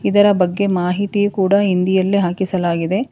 ಇದರ ಬಗ್ಗೆ ಮಾಹಿತಿ ಕೂಡ ಹಿಂದಿಯಲ್ಲಿ ಹಾಕಿಸಲಾಗಿದೆ.